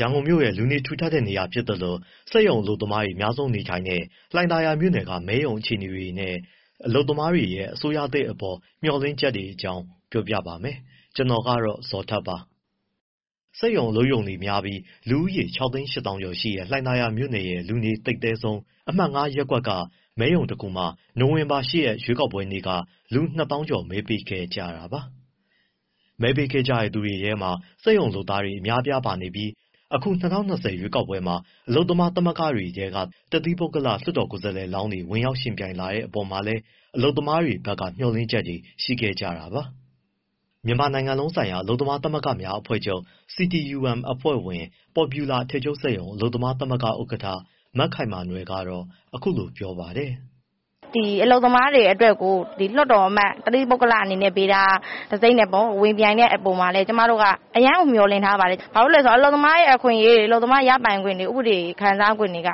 ရန်ကုန်မြို့ရဲ့ လူနေထူထပ်တဲ့နေရာဖြစ်သလို စက်ရုံအလုပ်သမားတွေ အများဆုံးနေထိုင်တဲ့ လှိုင်သာယာမြို့နယ်က မဲရုံအခြေအနေတွေနဲ့ အလုပ်သမားတွေရဲ့ အစိုးရသစ်အပေါ် မျှော်လင့်ချက်တွေအကြောင်း ကိုဇော်ထက် စုစည်းတင်ပြထားပါတယ်။ စက်ရုံအလုပ်ရုံတွေများပြီး လူဦးရေ ၆၈၀,၀၀၀ ကျော်ရှိတဲ့ လှိုင်သာယာမြို့နယ်ရဲ့ လူနေအသိပ်သည်းဆုံး အမှတ် ၅ ရပ်ကွက်က မဲရုံတခုမှာ နိုဝင်ဘာ ၈ ရက် ရွေးကောက်ပွဲနေ့က လူ ၂၀,၀၀၀ ကျော် မဲပေးခဲ့ကြတာပါ။ မဲပေးခဲ့ကြတဲ့ သူတွေထဲမှာ စက်ရုံလုပ်သား အများအပြား ပါနေပြီး အခု ၂၀၂၀ ရွေးကောက်ပွဲမှာ အလုပ်သမားသမဂ္ဂတွေထဲက တသီးပုဂ္ဂလ လွှတ်တော်ကိုယ်စားလှယ်လောင်းတွေ ဝင်ရောက်ယှဉ်ပြိုင်လာတဲ့ အပေါ်မှာလည်း အလုပ်သမားတွေက မျှော်လင့်ချက်တွေ ရှိခဲ့ကြတာပါ။ မြန်မာနိုင်ငံလုံးဆိုင်ရာ အလုပ်သမားသမဂ္ဂများ အဖွဲ့ချုပ် အဖွဲ့ဝင် Popular အထည်ချုပ်စက်ရုံ အလုပ်သမားသမဂ္ဂ ဥက္ကဋ္ဌ မခိုင်မာနွယ်က အခုလိုပြောပါတယ်။ “ဒီအလုပ်သမားတွေအတွက်ကို လွှတ်တော်အမတ် တသီးပုဂ္ဂလအနေနဲ့ ဗေဒါတံဆိပ်နဲ့ ဝင်ပြိုင်တဲ့အပေါ်မှာလည်း ကျမတို့က အရမ်းကို မျှော်လင့်ထားပါတယ်။ ဘာဖြစ်လို့လဲဆိုတော့ အလုပ်သမားတွေရဲ့ အခွင့်အရေးတွေ၊ အလုပ်သမားရဲ့ ရပိုင်ခွင့်တွေ၊ ခံစားခွင့်တွေက